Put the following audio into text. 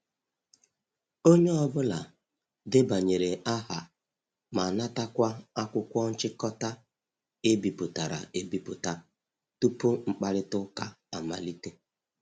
Onye ọ bụla debanyere aha ma natakwa akwụkwọ nchịkọta e bipụtara e biputa tupu mkpakorịta ụka amalite.